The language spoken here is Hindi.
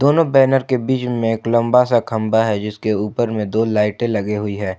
दोनों बैनर के बीच में एक लंबा सा खंभा है जिसके ऊपर में दो लाइटे लगी हुई है।